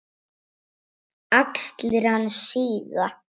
Axlir hans síga.